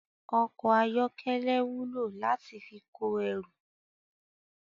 Ọkọ̀ ayọ́kẹ́lẹ́ wúlò láti fi kó ẹrù